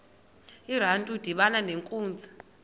urantu udibana nenkunzi